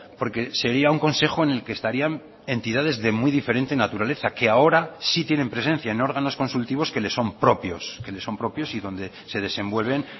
porque sería un consejo en el que estarían entidades de muy diferente naturaleza que ahora sí tienen presencia en órganos consultivos que le son propios que le son propios y donde se desenvuelven